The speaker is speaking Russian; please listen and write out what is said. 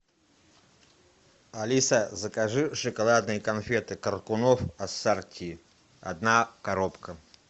алиса закажи шоколадные конфеты коркунов ассорти одна коробка